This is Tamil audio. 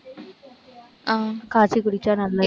ஆஹ் காய்ச்சி குடிச்சா நல்லது.